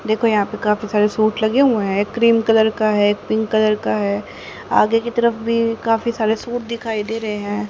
देखो यहां पे काफी सारे सूट लगे हुए हैं क्रीम कलर का है पिंक कलर का है आगे की तरफ भी काफी सारे सूट दिखाई दे रहे हैं।